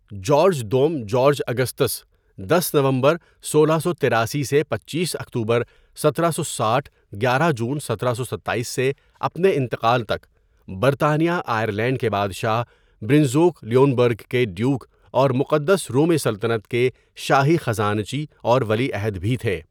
George دوم George Augustus, دس نومبر سولہ سو تیراسی سے پچیس اکتوبر سترہ سو ساٹھ گيارہ جون سترہ سو ستاٮٔس سے اپنے انتقال تک برطانیہ آئرلینڈ کے بادشاہ، برنزوک لیونبرگ کے ڈیوک اور مقدس رومی سلطنت کے شاہی خزانچی اور ولی عہد بھی تھے.